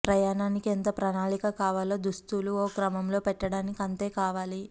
ప్రయాణానికి ఎంత ప్రణాళిక కావాలో దుస్తులు ఓ క్రమంలో పెట్టడానికీ అంతే కావాలి